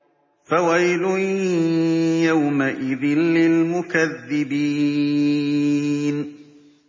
فَوَيْلٌ يَوْمَئِذٍ لِّلْمُكَذِّبِينَ